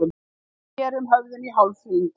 Við snerum höfðinu í hálfhring.